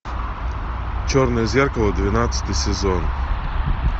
черное зеркало двенадцатый сезон